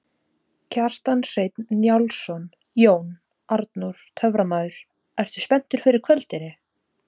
Kjartan Hreinn Njálsson: Jón Arnór töframaður, ertu spenntur fyrir kvöldinu?